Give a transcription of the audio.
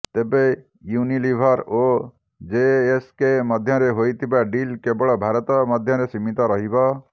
ତେବେ ୟୁନିଲିଭର ଓ ଜିଏସକେ ମଧ୍ୟରେ ହୋଇଥିବା ଡିଲ କେବଳ ଭାରତ ମଧ୍ୟରେ ସୀମିତ ରହିବ